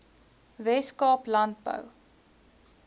wes kaap landbou